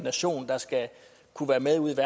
så er